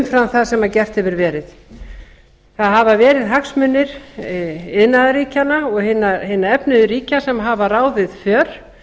umfram það sem gert hefur verið það hafa verið hagsmunir iðnaðarríkjanna og hinna efnuðu ríkja sem hafa ráðið